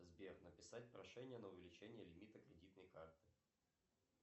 сбер написать прошение на увеличение лимита кредитной карты